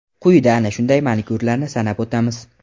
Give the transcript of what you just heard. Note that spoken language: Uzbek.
Quyida ana shunday manikyurlarni sanab o‘tamiz.